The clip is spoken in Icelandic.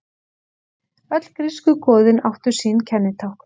Öll grísku goðin áttu sín kennitákn.